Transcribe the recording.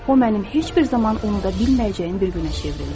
O mənim heç bir zaman unuda bilməyəcəyim bir günə çevrildi.